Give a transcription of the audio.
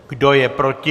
Kdo je proti?